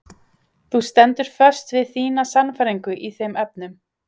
Þú stendur föst við þína sannfæringu í þeim efnum?